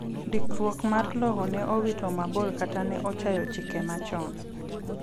ndikruok mar lowo ne owito mabor kata ne ochayo chike machon